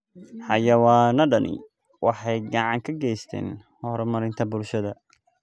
Xayawaanadani waxay gacan ka geystaan ??horumarinta bulshada.